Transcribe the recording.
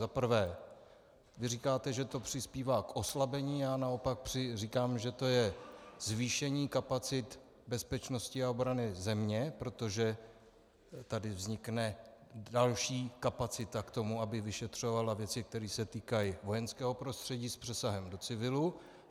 Za prvé, vy říkáte, že to přispívá k oslabení, já naopak říkám, že to je zvýšení kapacit bezpečnosti a obrany země, protože tady vznikne další kapacita k tomu, aby vyšetřovala věci, které se týkají vojenského prostředí s přesahem do civilu.